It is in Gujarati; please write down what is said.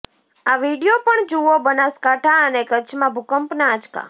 આ વીડિયો પણ જુઓઃ બનાસકાંઠા અને કચ્છમાં ભૂકંપના આંચકા